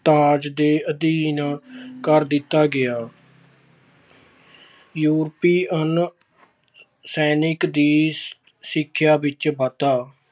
ਰਾਜ ਦੇ ਅਧੀਨ ਕਰ ਦਿੱਤਾ ਗਿਆ। ਯੂਰਪੀਅਨ ਸੈਨਿਕਾਂ ਦੀ ਸੰਖਿਆ ਵਿੱਚ ਵਾਧਾ-